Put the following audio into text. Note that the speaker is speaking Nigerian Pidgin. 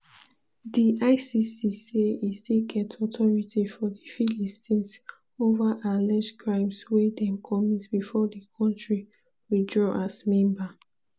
d icc say e still get authority for di philippines over alleged crimes wey dem commit before di kontri withdraw as member.